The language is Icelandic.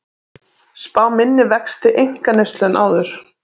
Spá minni vexti einkaneyslu en áður